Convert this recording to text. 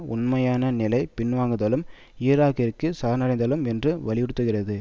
உண்மையான நிலை பின்வாங்குதலும் ஈராக்கிற்குச் சரணடைதலும் என்று வலியுறுத்துகிறது